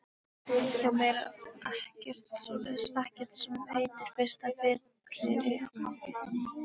Hjá mér er ekkert svoleiðis, ekkert sem heitir fyrsta fylliríið.